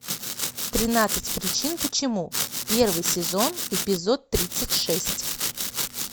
тринадцать причин почему первый сезон эпизод тридцать шесть